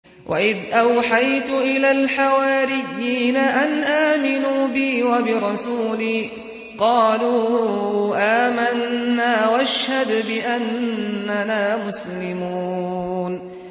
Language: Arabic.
وَإِذْ أَوْحَيْتُ إِلَى الْحَوَارِيِّينَ أَنْ آمِنُوا بِي وَبِرَسُولِي قَالُوا آمَنَّا وَاشْهَدْ بِأَنَّنَا مُسْلِمُونَ